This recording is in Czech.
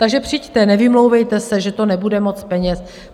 Takže přijďte, nevymlouvejte se, že to nebude moc peněz.